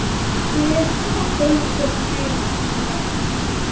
Guð fylgi henni.